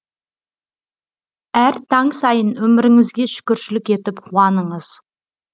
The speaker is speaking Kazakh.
әр таң сайын өміріңізге шүкіршілік етіп қуаныңыз